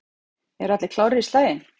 Eru allir klárir í slaginn?